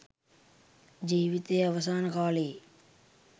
ජීවිතයේ අවසාන කාලයේ